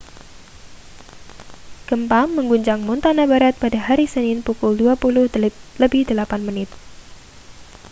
gempa mengguncang montana barat pada hari senin pukul 20.08